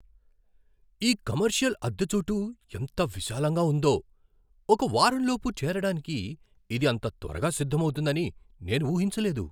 ఈ కమర్షియల్ అద్దె చోటు ఎంత విశాలంగా ఉందో! ఒక వారంలోపు చేరడానికి ఇది అంత త్వరగా సిద్ధమవుతుందని నేను ఊహించలేదు!